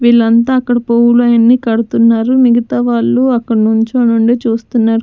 వీళ్లంతా అక్కడ పువ్వులన్ని కడుతున్నారు మిగతా వాళ్ళు అక్కడ నుంచొని నుండి చూస్తున్నారు.